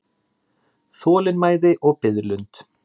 Þolinmæði og biðlund.